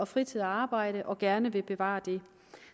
fritid og arbejde og gerne vil bevare det